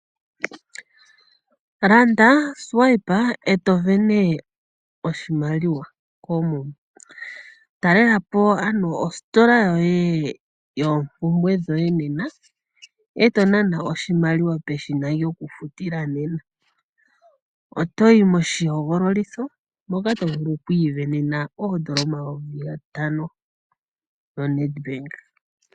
Landa, nana, eto vene/sindana oshimaliwa koomuma. Talela po ano ositola yoye yoompumbwe dhoye nena eto nana oshimaliwa peshina lyokufutila nena, otoyi moshihogololitho moka to vulu okwiivenena/sindanena oshimaliwa shoondola omayovi gatano noNedbank.